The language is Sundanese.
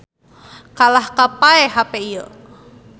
Kalahkah paeh hape ieu